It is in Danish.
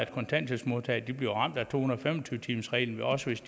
kontanthjælpsmodtagere bliver ramt af to hundrede og fem og tyve timersreglen også hvis